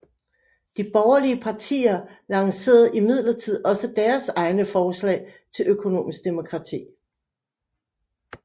De borgerlige partier lancererede imidlertid også deres egne forslag til økonomisk demokrati